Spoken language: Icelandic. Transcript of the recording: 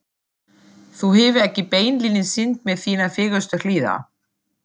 Þú hefur ekki beinlínis sýnt mér þínar fegurstu hliðar.